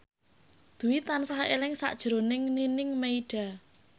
Dwi tansah eling sakjroning Nining Meida